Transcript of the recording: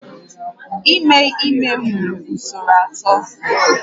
Ime ime nwere usoro atọ